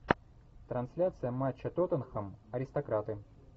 трансляция матча тоттенхэм аристократы